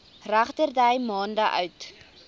regterdy maande oud